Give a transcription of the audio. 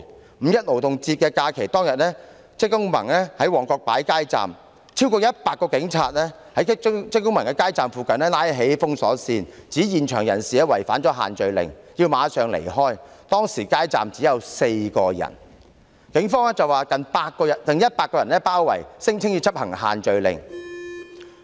在五一勞動節假期當天，職工盟在旺角擺設街站，有超過100名警務人員在街站附近拉起封鎖線，指在場人士違反限聚令，必須馬上離開，但街站當時只有4人，附近卻有100名警務人員包圍，聲稱要執行限聚令。